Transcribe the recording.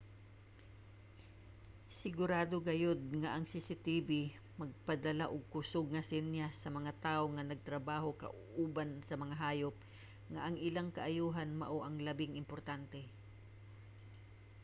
"sigurado gayud nga ang cctv magpadala og kusug nga senyas sa mga tawo nga nagtrabaho kauban sa mga hayop nga ang ilang kaayohan mao ang labing importante.